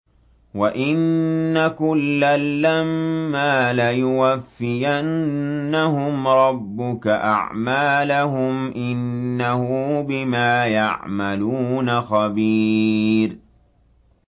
وَإِنَّ كُلًّا لَّمَّا لَيُوَفِّيَنَّهُمْ رَبُّكَ أَعْمَالَهُمْ ۚ إِنَّهُ بِمَا يَعْمَلُونَ خَبِيرٌ